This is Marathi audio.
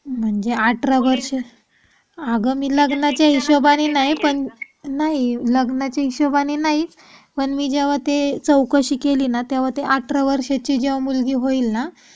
म्हणजे अठरा वर्ष आग मी लग्नाच्या हिशोबानी नाही पण लग्नाच्या हिशोबानी नाही पण मी जेव्हा ते चौकशी केली ना तेव्हा ते अठरा वर्षाची जेव्हा मुलगी होईल ना.